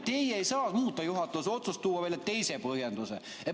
Teie ei saa muuta juhatuse otsust ega tuua välja teist põhjendust.